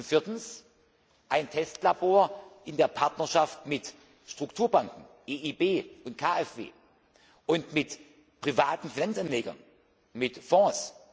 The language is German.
Viertens Ein Testlabor in der Partnerschaft mit Strukturbanken EIB und KfW und mit privaten Fremdanlegern, mit Fonds.